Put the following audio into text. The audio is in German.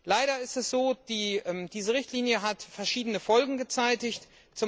Leider ist es so, dass diese Richtlinie verschiedene Folgen gezeitigt hat.